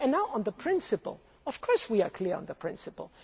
As regards the principle, of course we are clear on the principle.